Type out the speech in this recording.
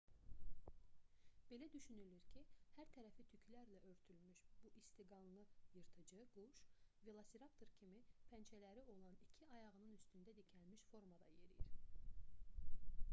belə düşünülürdü ki hər tərəfi tüklərlə örtülmüş bu istiqanlı yırtıcı quş velosiraptor kimi pəncələri olan iki ayağının üstündə dikəlmiş formada yeriyir